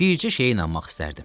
Bircə şeyə inanmaq istərdim.